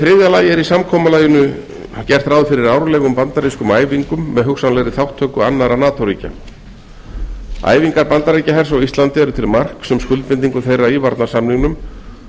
er í samkomulaginu gert ráð fyrir árlegum bandarískum æfingum með hugsanlegri þátttöku annarra nato ríkja æfingar bandaríkjahers á íslandi eru til marks um skuldbindingu þeirra í varnarsamningnum